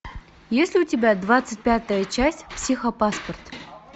есть ли у тебя двадцать пятая часть психопаспорт